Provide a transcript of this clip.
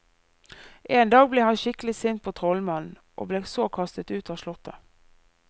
En dag ble han skikkelig sint på trollmannen, og ble så kastet ut av slottet.